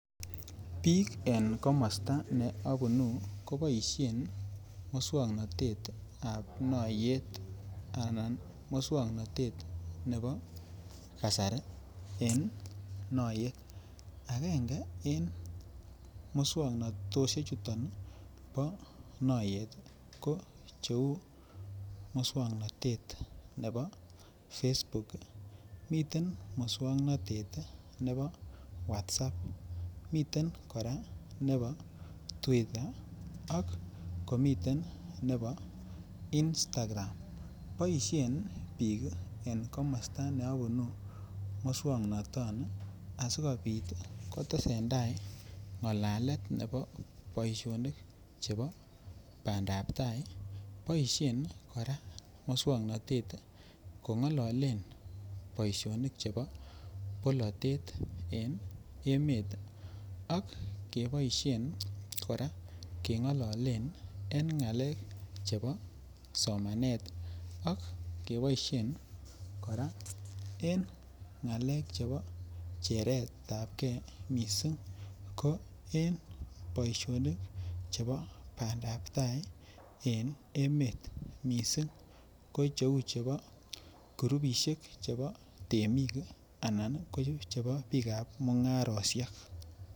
Bik en komosta ne abunu kobo moswoknatetab ab noyeet anan moswoknatetab kasari en noyeet agenge en muswoknotosiechu bo noyeet ko cheu muswoknotet nebo fesbuk miten muswoknotet nebo WhatsApp miten moswoknatet kora nebo twita ak komiten nebo Instagram boisien bik en komosta ne abunu moswoknatanito asikobit kotesentai ngalalet ab boisionik chebo bandap tai boisien kora moswoknatet kongalelen boisionik chebo bolatet en emet ak keboisien kora kengololen en ngalek chebo somanet ak keboisien kora en ngalek chebo cheret ab gee mising ko en boisionik chebo bandap tai en emet mising ko cheu chebo kirupisiek ab temik ak bikap mungarosiek